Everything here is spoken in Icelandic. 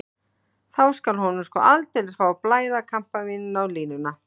Þá skal hann sko aldeilis fá að blæða kampavíni á línuna.